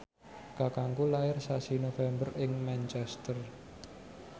kakangku lair sasi November ing Manchester